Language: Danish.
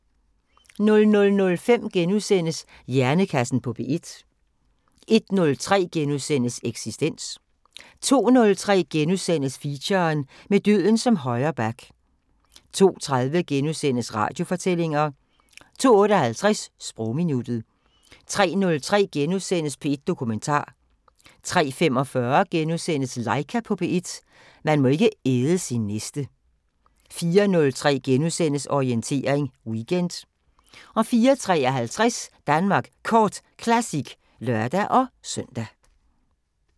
00:05: Hjernekassen på P1 * 01:03: Eksistens * 02:03: Feature: Med døden som højre back * 02:30: Radiofortællinger * 02:58: Sprogminuttet 03:03: P1 Dokumentar * 03:45: Laika på P1 – man må ikke æde sin næste * 04:03: Orientering Weekend * 04:53: Danmark Kort Classic (lør-søn)